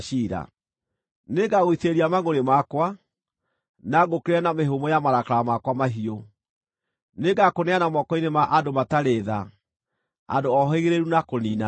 Nĩngagũitĩrĩria mangʼũrĩ makwa, na ngũũkĩrĩre na mĩhũmũ ya marakara makwa mahiũ; nĩngakũneana moko-inĩ ma andũ matarĩ tha, andũ ohĩgĩrĩru na kũniinana.